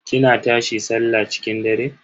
kina tashi sallah cikin dare?